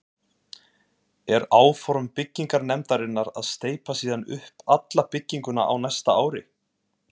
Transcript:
Er áform byggingarnefndar að steypa síðan upp alla bygginguna á næsta ári.